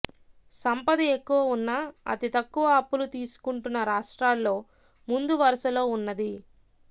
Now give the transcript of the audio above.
సంపద ఎక్కువ ఉన్నా అతితక్కువ అప్పులు తీసుకుంటున్న రాష్ర్టాల్లో ముందువరుసలో ఉన్నది